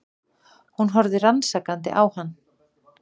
Hún horfði rannsakandi á hann.